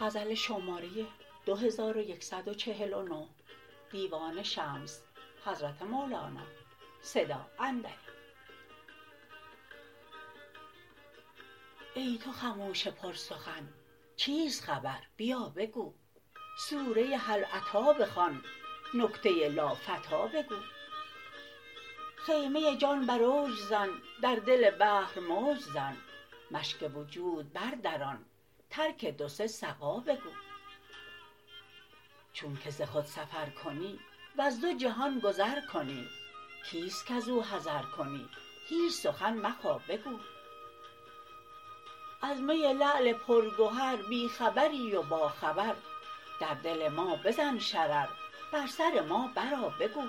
ای تو خموش پرسخن چیست خبر بیا بگو سوره هل اتی بخوان نکته لافتی بگو خیمه جان بر اوج زن در دل بحر موج زن مشک وجود بردران ترک دو سه سقا بگو چونک ز خود سفر کنی وز دو جهان گذر کنی کیست کز او حذر کنی هیچ سخن مخا بگو از می لعل پرگهر بی خبری و باخبر در دل ما بزن شرر بر سر ما برآ بگو